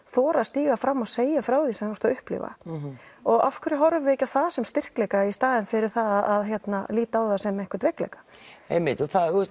þora að stíga fram og segja frá því sem þú ert að upplifa og af hverju horfum við ekki á það sem styrkleika í staðinn fyrir að líta á það sem einhvern veikleika einmitt